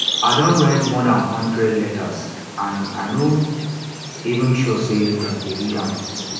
i don write more dan hundred letters and i no even sure say dem dey read am